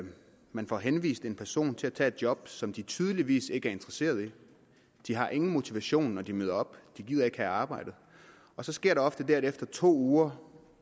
man får henvist personer til at tage job som de tydeligvis ikke er interesseret i de har ingen motivation når de møder op de gider ikke have arbejdet og så sker der ofte det at efter to uger